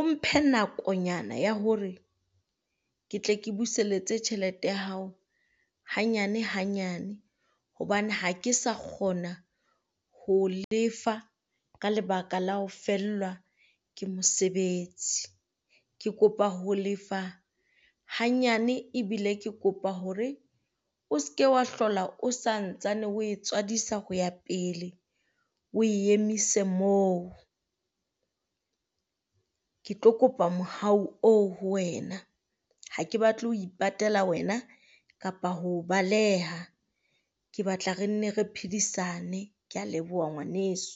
o mphe nakonyana ya hore ke tle ke buseletse tjhelete ya hao hanyane hanyane, hobane ha ke sa kgona ho o lefa ka lebaka la ho fellwa ke mosebetsi. Ke kopa ho lefa hanyane ebile ke kopa hore o se ke wa hlola o santsane o e tswadisa ho ya pele o e emise moo. Ke tlo kopa mohau oo ho wena ha ke batle ho ipatela wena kapa ho o baleha, ke batla re nne re phedisane. Kea leboha ngwaneso.